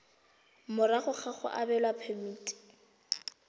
morago ga go abelwa phemiti